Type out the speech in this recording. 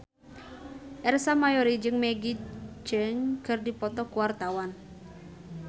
Ersa Mayori jeung Maggie Cheung keur dipoto ku wartawan